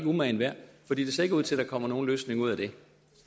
umagen værd for det ser ikke ud til at der kommer nogen løsning ud af det